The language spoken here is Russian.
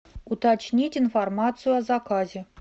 уточнить информацию о заказе